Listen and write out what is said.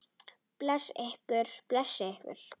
Blessi ykkur.